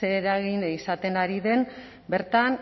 ze eragin izaten ari den bertan